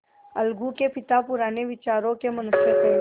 अलगू के पिता पुराने विचारों के मनुष्य थे